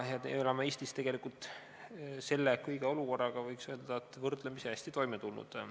Me oleme Eestis tegelikult kogu selle olukorraga, võiks öelda, võrdlemisi hästi toime tulnud.